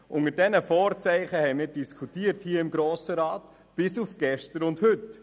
» Unter diesen Vorzeichen haben wir hier im Grossen Rat diskutiert, bis auf gestern und heute.